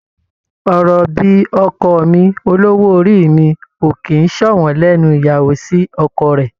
Ọ̀rọ̀ bíi "ọkọ mi", "olówó orí mi" ò kì í ṣọ̀wọ́n lẹ́nu ìyàwó sí ọkọ rẹ̀.